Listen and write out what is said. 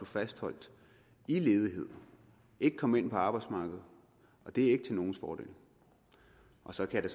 fastholdt i ledighed ikke kom ind på arbejdsmarkedet og det er ikke til nogens fordel og så kan